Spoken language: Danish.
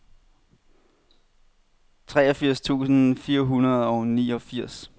treogfirs tusind fire hundrede og niogfirs